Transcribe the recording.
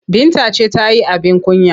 Binta ce ta yi abin kunya.